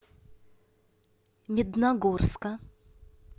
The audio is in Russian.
медногорска